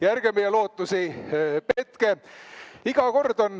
Ja ärge meie lootusi petke.